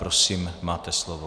Prosím, máte slovo.